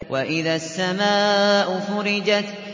وَإِذَا السَّمَاءُ فُرِجَتْ